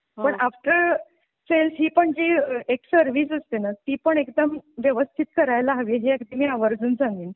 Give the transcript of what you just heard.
आपण आपल्या सेल्फ पण जी एक सर्विस असते ना ती पण एकदम व्यवस्थित करायला हवी हे अगदी मी आवर्जून सांगेन.